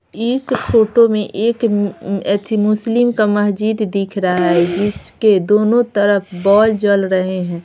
इस फोटो में एक मुस्लिम का मस्जिद दिख रहा है जिसके दोनों तरफ बॉल जल रहे हैं।